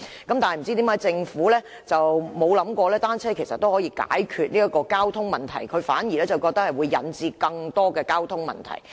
但是，不知為何政府沒有想過單車其實也可以解決交通問題，反而覺得會引致更多交通問題。